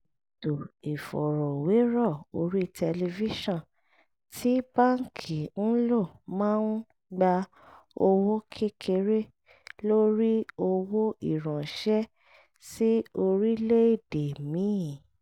ètò ìfọ̀rọ̀wérọ̀ orí tẹlifíṣọ̀n tí báńkì ń lò máa ń gba owó kékeré lórí owó ìránṣẹ́ sí orílẹ̀-èdè míì